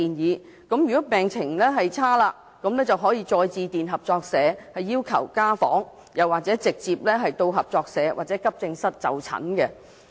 若病人的病情惡化，他們可以再致電合作社要求家訪，或直接到合作社或急症室就診。